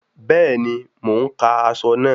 Bẹ́ẹ̀ni, mo ń ka aṣọ náà